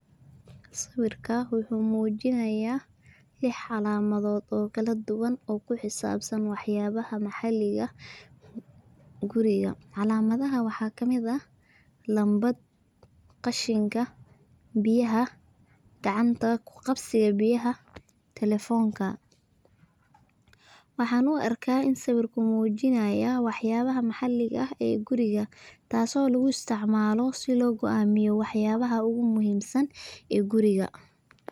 Sawirka wuxuu muujinaya lix calamadod oo kala duban oo kuxisbsan wax yabaha maxaliga ah guriga calamadaha waxa kamid ah nambad ,qashinka, biyaha gacanta kuqabsiga biyaha talefoonka, waxan u arka inu sawirka muujinaya waxabaha maxaliga ah guriga taaso lugu isticmaalo sida loo go'amiyo wax yabaha ogu muhiimsan ee guriga,